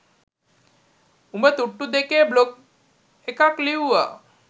උඹ තුට්ටු දෙකේ බ්ලොග් එකක් ලිව්වා